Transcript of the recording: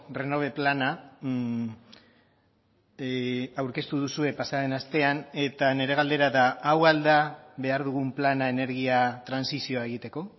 renove plana aurkeztu duzue pasaden astean eta nire galdera da hau al da behar dugun plana energia trantsizioa egiteko